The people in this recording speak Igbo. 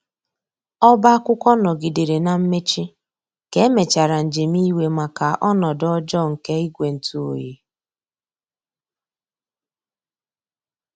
Ọba akwụkwo ngogidere na mmechi ka emechara njem iwe maka ọnodo ọjọ nke igwe ntụ ọyi